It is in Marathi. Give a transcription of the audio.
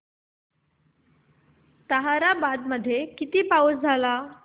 ताहराबाद मध्ये किती पाऊस झाला